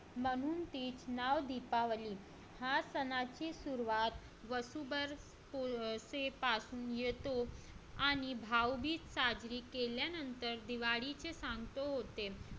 म्हणून त्याचं नाव दीपावली या सणाची सुरुवात वसु बरसे पासून येतो आणि भाऊबीज साजरी केल्यानंतर दिवाळीचे सांगतो होते तर